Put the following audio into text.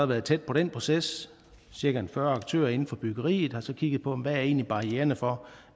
været tæt på den proces cirka fyrre aktører inden for byggeriet har så kigget på hvad er egentlig barriererne for